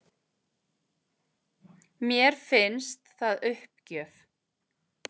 Mér finnst það uppgjöf